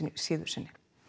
síðu sinni